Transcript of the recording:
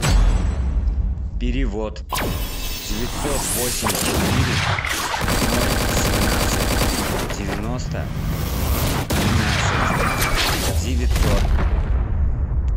перевод девятьсот восемьдесят четыре ноль семнадцать девяносто тринадцать девятьсот